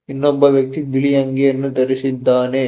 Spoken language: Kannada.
ಇನ್ನೊಬ್ಬ ವ್ಯಕ್ತಿ ಬಿಳಿ ಅಂಗಿಯನ್ನು ಧರಿಸಿದ್ದಾನೆ.